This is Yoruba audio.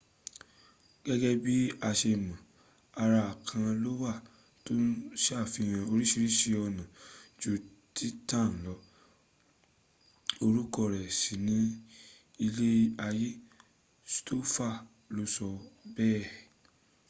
gẹ́gẹ́ bí a ṣe mọ̀, ara kan ló wà tó ṣàfihàn orísiríṣi ọ̀nà ju titan lọ orúkọ rẹ̀ sì ni ilé ayé stofan la sọ bẹ́ẹ̀